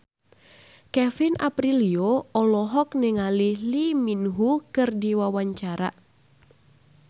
Kevin Aprilio olohok ningali Lee Min Ho keur diwawancara